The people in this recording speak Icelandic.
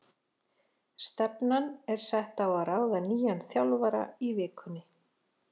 Stefnan er sett á að ráða nýjan þjálfara í vikunni.